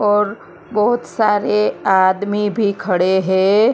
और बहोत सारे आदमी भी खड़े है।